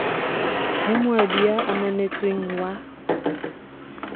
ho moabi ya ananetsweng wa